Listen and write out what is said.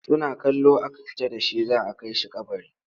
Suna kallo aka fita da shi za a kai shi kabari.